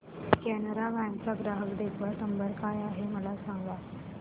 Canara bank चा ग्राहक देखभाल नंबर काय आहे मला सांगा